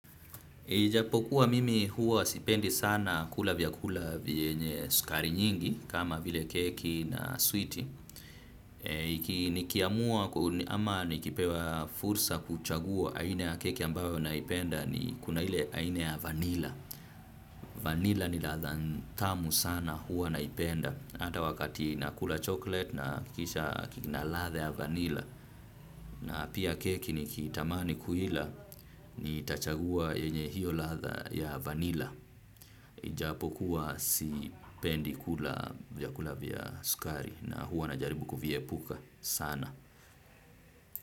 Ijapokuwa mimi huwa sipendi sana kula vyakula vyenye sukari nyingi kama vile keki na switi. Nikiamua ama nikipewa fursa kuchagua aina ya keki ambayo naipenda ni kuna ile aina ya vanilla. Vanila ni latha tamu sana huwa naipenda ata wakati nakula chocolate nahakikisha kina latha ya vanila. Na pia keki nikiitamani kuila ni tachagua yenye hiyo latha ya vanilla. Ijapokuwa sipendi kula vya sukari na huwa na jaribu kuviepuka sana.